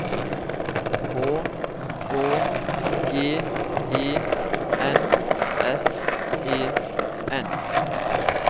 H Å G E N S E N